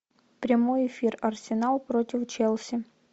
прямой эфир арсенал против челси